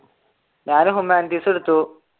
ഞാൻ ഹ്യൂമാനിറ്റീസ് എടുത്തു.